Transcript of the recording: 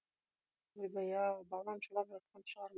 ойбай ау балам жылап жатқан шығар